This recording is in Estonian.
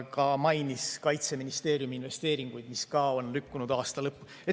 Ta mainis ka Kaitseministeeriumi investeeringuid, mis samuti on lükkunud aasta lõppu.